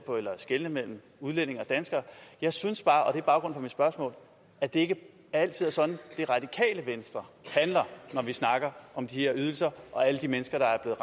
skelne mellem udlændinge og danskere jeg synes bare og det er baggrunden spørgsmål at det ikke altid er sådan det radikale venstre handler når vi snakker om de her ydelser og alle de mennesker der er